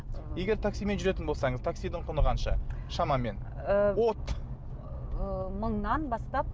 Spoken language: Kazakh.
егер таксимен жүретін болсаңыз таксидің құны қанша шамамен ыыы от ыыы мыңнан бастап